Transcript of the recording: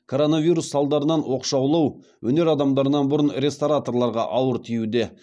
коронавирус салдарынан оқшаулау өнер адамдарынан бұрын рестораторларға ауыр тиюде